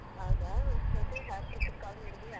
ಹೌದಾ? ಮತ್ತೆ ಅಪ್ರರೂಪಕ್ಕೆ call ಮಾಡ್ತಿದೀಯಾ?